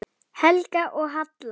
Helga og Halla.